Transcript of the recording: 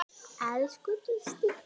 Elsku Gísli.